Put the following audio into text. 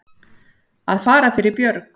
Að fara fyrir björg